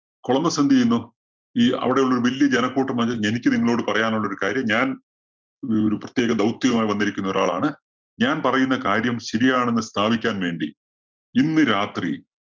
Columbus എന്തു ചെയ്യുന്നു? ഈ അവിടെയുള്ളൊരു വല്യ ജനക്കൂട്ടം എനിക്ക് നിങ്ങളോട് പറയാനുള്ളൊരു കാര്യം ഞാന്‍ ഒരു ഒരു പ്രത്യേക ദൗത്യവുമായി വന്നിരിക്കുന്ന ഒരാളാണ്. ഞാന്‍ പറയുന്ന കാര്യം ശരിയാണെന്ന് സ്ഥാപിക്കാന്‍ വേണ്ടി ഇന്ന് രാത്രി